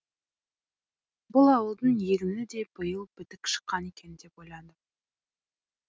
бұл ауылдың егіні де биыл бітік шыққан екен деп ойладым